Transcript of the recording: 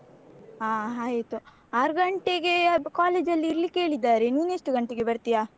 ಹ ಆಯ್ತು ಆರ್ಗಂಟೆಗೆ ಅದು college ಅಲ್ಲಿ ಇರ್ಲಿಕ್ಕೆ ಹೇಳಿದ್ದಾರೆ ನೀನು ಎಷ್ಟು ಗಂಟೆಗೆ ಬರ್ತೀಯ?